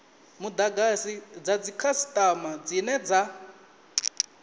mudagasi dza dzikhasitama dzine dza